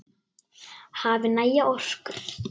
Hafi næga orku.